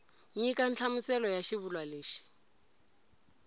nyika nhlamuselo ya xivulwa lexi